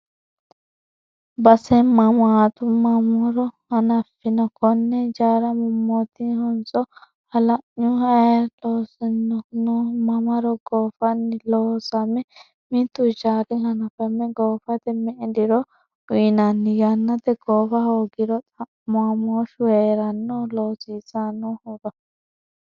Base mamatu mamaro hananfonni kone hijaara, mootimmahonso halanyuho, ayi loosanni no mamaro goofano loossame, mitu hijaari hanafame goofate me"e diro uyinanni yannate goofa hoogiro xa'mamoshu heerano loosiisanohura?